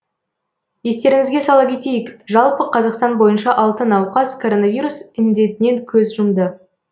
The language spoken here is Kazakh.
естеріңізге сала кетейік жалпы қазақстан бойынша алты науқас коронавирус індетінен көз жұмды